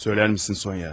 Söylər misin, Sonya?